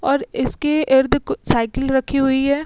और इसके इर्द कु सायकिल रखी हुई हैं।